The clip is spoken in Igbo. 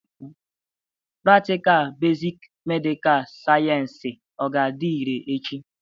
Pratịkal besik medikal sayensị ọ ga-adị irè echi?